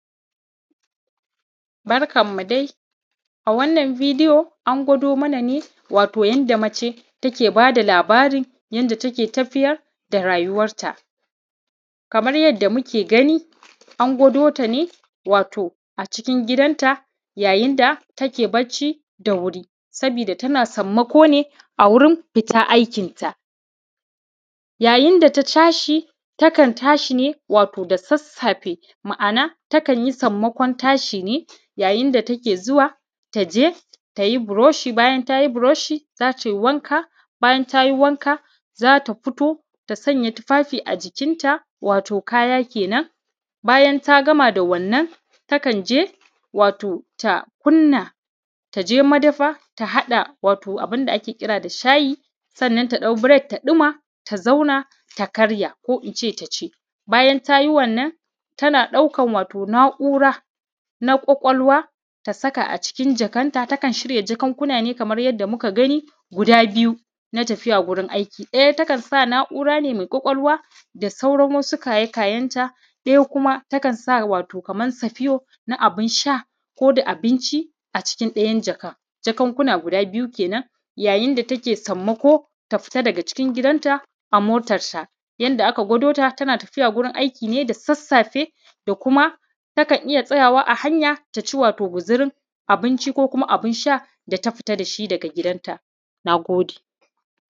Barkanmu dai a wannan bidiyo an gwado mana ne wato yanda mace take bada labarin yanda take tafiyar da rayuwarta. Kamar yadda muke gani an gwado ta ne wato a cikin gidanta yayin da take bacci, sabida tana sammako ne a wurin fita aikinta. Yayin da ta tashi takan tashi ne wato da sassafe, ma’ana takan yi sammakon tashi ne ya yinda da take zuwa ta yi buroshi bayan ta yi buroshi, za tai wanka bayan ta yi wanka zata fito ta sanya tufafi a jikinta wato kaya kenan, bayan ta gama da wannan takan je wato ta kunna ta je madafa ta haɗa wato abunda ake kira da shayi. Sannan ta ɗau break ta ɗuma ta zauna ta karya ko in ce ta ci. Bayan ta yi wannan tana ɗaukan wato na’ura na ƙwaƙwalwa ta saka a cikin jakanta, takan shirya jakunkuna ne kamar yanda muka gani guda biyu na tafiya gurin aiki ɗaya takan sa na’ura ne mai ƙwaƙwalwa sauran wasu kaye kayenta, ɗaya kuma takan sa wato laman safiyo na abinsha ko da abinci a cikin ɗayan jakan. Jakunkuna guda biyu kenan yayin da take sammako ta fita daga cikin gidanta a motarta. Yanda aka gwado ta tana tafiya gurin aiki ne da sassafe da kuma takan iya tsayawa a hanya ta ci wato guzurin ko kuma abunsha da ta fita da shi daga gidanta. Na gode.